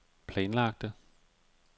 planlagte